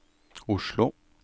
Oslo